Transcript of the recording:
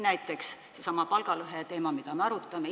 Näiteks seesama palgalõheteema, mida me arutame.